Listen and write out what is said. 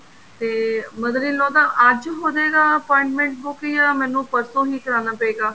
ਤੇ mother in law ਦਾ ਅੱਜ ਹੋਜੇਗਾ appointment ਬੁੱਕ ਜਾਂ ਮੈਨੂੰ ਪਰਸੋ ਹੀ ਕਰਾਉਣਾ ਪਏਗਾ